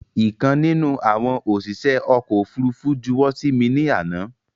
Ìkan nínú àwọn òṣìṣẹ́ ọkọ̀ ofúrufú juwọ́ sí mi ní àná